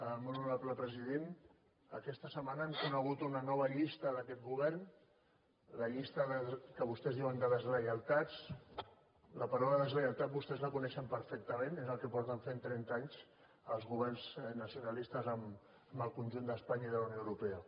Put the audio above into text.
molt honorable president aquesta setmana hem conegut una nova llista d’aquest govern la llista que vostès en diuen de deslleialtats la paraula deslleialtat vostès la coneixen perfectament és el que fa trenta anys que fan els governs nacionalistes amb el conjunt d’espanya i de la unió europea